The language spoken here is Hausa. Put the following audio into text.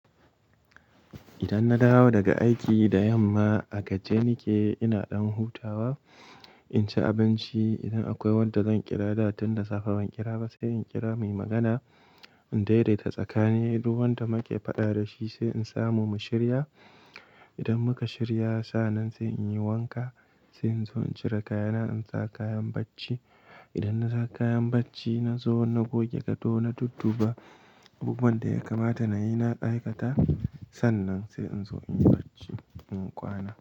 Idan na dawo daga aiki da yamma a gajiye nake ina ɗan hutawa, in ci abinci. Idan akwai wanda zan ƙira da tun da safe ban ƙira ba sai in ƙira muyi magana, in daidaita tsakani duk wanda muka faɗa da shi sai in samu mu shirya. Idan muka shirya sa'an nan sai in yi wanka, sai in zo in cire kayana in sa kayan bacci. Idan na sa kayan bacci na zo na goge gado na dudduba. Abubuwan da ya kamata na yi na aikata sannan sai in zo in yi bacci, in kwana.